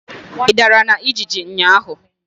Ị dara na ijiji ụnyaahụ?